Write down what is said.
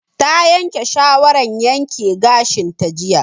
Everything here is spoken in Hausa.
Ta yanke shawaran yanke gashin ta jiya